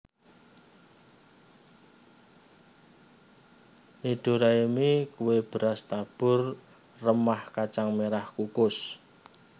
Nidoraemi kue beras tabur remah kacang merah kukus